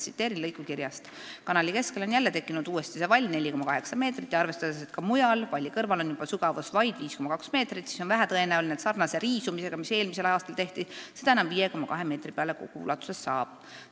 Tsiteerin lõiku kirjast: "Kanali keskele on jälle tekkinud uuesti see vall 4,8 meetrit ja arvestades, et ka mujal valli kõrval on juba sügavus vaid 5,2 meetrit, siis on vähetõenäoline, et sarnase riisumisega, mis eelmisel aastal tehti, seda enam 5,2 meetri peale kogu ulatuses saab.